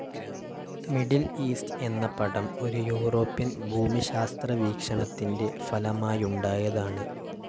Middle East എന്ന പടം ഒരു യൂറോപ്യൻ ഭൂമിശാസ്ത്രവീക്ഷണത്തിൻ്റെ ഫലമായുണ്ടായതാണ്.